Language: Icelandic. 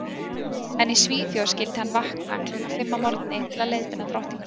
En í Svíþjóð skyldi hann vakna klukkan fimm að morgni til að leiðbeina drottningunni.